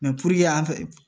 an fɛ